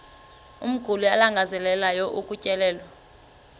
umguli alangazelelayo ukutyelelwa